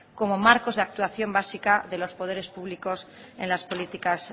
como marcos de actuación básica de los poderes públicos en las políticas